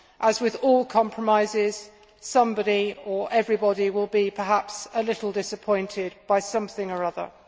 As with all compromises, somebody or everybody will perhaps be a little disappointed by something or other.